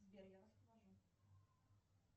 сбер я вас провожу